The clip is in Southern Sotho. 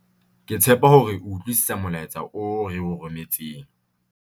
ke tshepa hore o utlwisisa molaetsa oo re o rometseng